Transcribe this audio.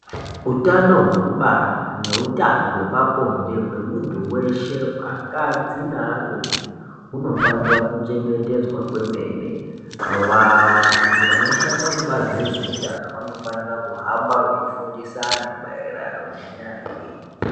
Utano hwekubara neutano hwepa bonde hwemuntu weshe, akadzi nearume hunofanira kuchengetedzwa kwemene. Vantu vanoshanda kubazi rezveutano, vanofanira kuhamba veifundisa antu maererano nenyaya iyoyi.